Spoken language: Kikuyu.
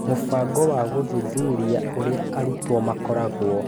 Mũbango wa gũthuthuria gũthuthuria ũrĩa arutwo makoragwo.